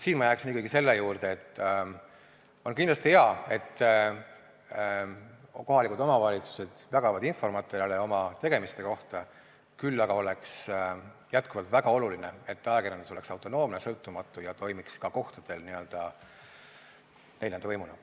Ma jääksin ikkagi selle juurde, et on kindlasti hea, et kohalikud omavalitsused jagavad infomaterjale oma tegemiste kohta, küll aga oleks jätkuvalt väga oluline, et ajakirjandus oleks autonoomne, sõltumatu ja toimiks ka kohtadel n-ö neljanda võimuna.